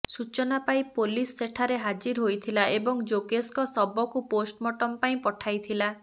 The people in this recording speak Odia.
ସୂଚନା ପାଇ ପୋଲିସ୍ ସେଠାରେ ହାଜିର ହୋଇଥିଲା ଏବଂ ଯୋଗେଶଙ୍କ ଶବକୁପୋଷ୍ଟମୋର୍ଟମ୍ ପାଇଁ ପଠାଇଥିଲା